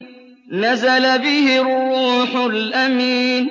نَزَلَ بِهِ الرُّوحُ الْأَمِينُ